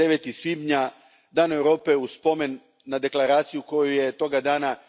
9. svibnja dan Europe u spomen na deklaraciju koju je toga dana